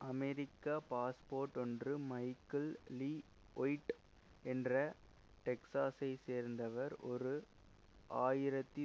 அமெரிக்க passport ஒன்று Michael Lee White என்று டெக்சாசை சேர்ந்தவர் ஓரு ஆயிரத்தி